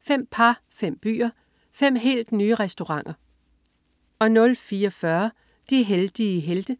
Fem par, fem byer, fem helt nye restauranter 04.40 De heldige helte*